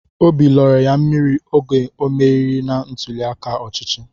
Óbị lọrọ ya mmiri oge o merighi na ntuli aka ọchịchị